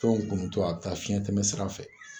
Fɛnw kunnun to, a bɛ taa fiɲɛtɛmɛsira fɛ.